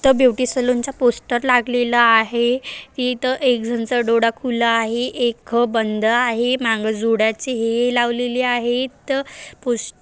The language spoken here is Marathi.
सलूनचा पोस्टर लागलेला आहे इथ एक जणच डोळा खुला आहे एक बंद आहे माग जुड्याचे हे लावलेली आहेत पोस्टर --